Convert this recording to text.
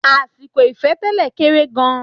Àsìkò ìfẹ́-tẹ́lẹ̀ kéré gan-an.